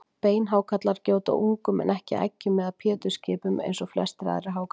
Beinhákarlar gjóta ungum en ekki eggjum eða pétursskipum eins og flestir aðrir hákarlar.